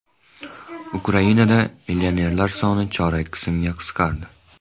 Ukrainada millionerlar soni chorak qismga qisqardi.